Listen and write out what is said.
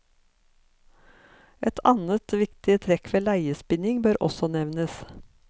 Et annet viktig trekk ved leiespinning bør også nevnes.